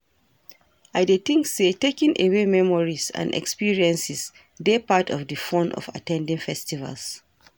I dey think say taking away memories and experiences dey part of di fun of at ten ding festivals.